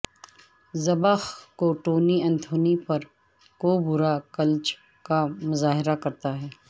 ذبح کو Tony Anthony پر کوبرا کلچ کا مظاہرہ کرتا ہے